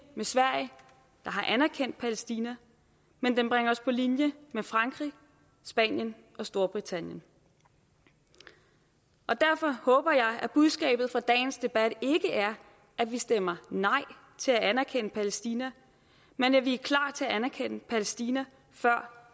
med sverige der har anerkendt palæstina men den bringer os på linje med frankrig spanien og storbritannien og derfor håber jeg at budskabet fra dagens debat ikke er at vi stemmer nej til at anerkende palæstina men at vi er klar til at anerkende palæstina før